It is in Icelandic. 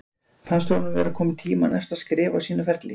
Fannst honum vera kominn tími á næsta skref á sínum ferli?